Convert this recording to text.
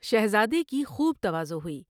شہزادے کی خوب تواضع ہوئی ۔